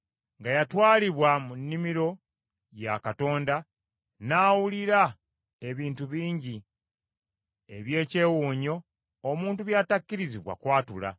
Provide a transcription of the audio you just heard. nga yatwalibwa mu nnimiro lwa Katonda n’awulira ebintu bingi eby’ekyewuunyo omuntu by’atakkirizibwa kwatula.